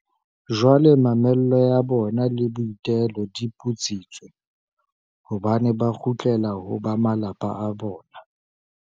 Jwale mamello ya bona le boitelo di putsitswe, hobane ba kgutlela ho ba malapa a bona.